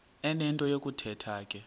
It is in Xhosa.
enento yokuthetha ke